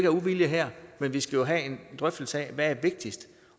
af uvilje her men vi skal have en drøftelse af hvad der er vigtigst